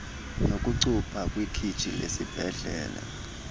nokucupha kwikhitshi lesibhedlele